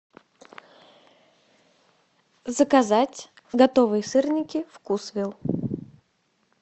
заказать готовые сырники вкусвилл